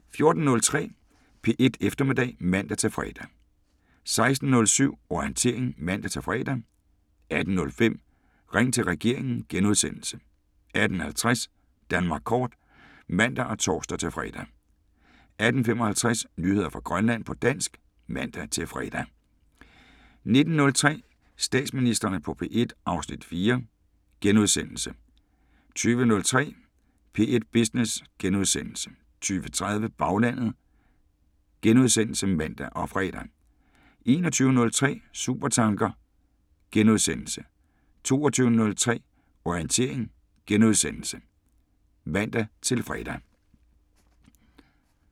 14:03: P1 Eftermiddag (man-fre) 16:07: Orientering (man-fre) 18:05: Ring til regeringen * 18:50: Danmark kort (man og tor-fre) 18:55: Nyheder fra Grønland på dansk (man-fre) 19:03: Statsministrene på P1 (Afs. 4)* 20:03: P1 Business * 20:30: Baglandet *(man og fre) 21:03: Supertanker * 22:03: Orientering *(man-fre)